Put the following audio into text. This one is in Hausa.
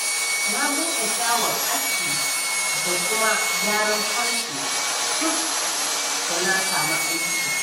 Na buɗe shago aski da kuma gyaran farce, duk da na sami akin.